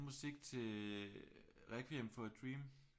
Lavede han musik til Requiem for a Dream